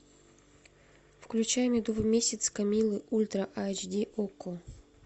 включай медовый месяц камиллы ультра айч ди окко